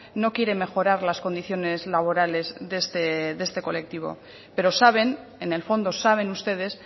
no quiere mejorar las condiciones laborales de este colectivo pero saben en el fondo saben ustedes